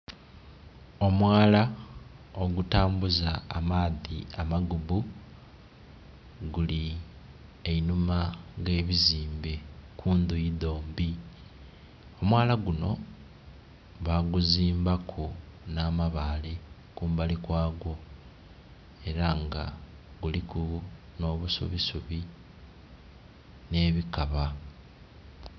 Omwaala ogutambuza amaadhi amagubu guli einhuma ghebizimbe kundhuyi dhombi. Omwaala guno baguzimbaku n'amabale kumbali kwa gwo era nga guliku nh'obusubisubi nh'ebikaba.